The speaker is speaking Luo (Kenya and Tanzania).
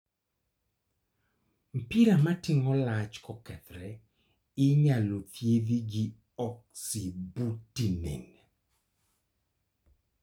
mpira mating'o lach kokethore inyal thiedhi gi oxybutynin.